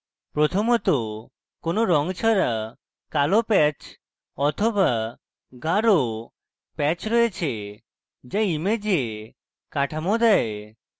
প্রথমত কোনো রঙ ছাড়া কালো প্যাচ অথবা গাঢ় প্যাচ রয়েছে যা image কাঠামো দেয়